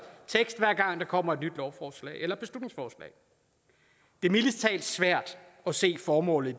gang der kommer et nyt lovforslag eller beslutningsforslag det er mildest talt svært at se formålet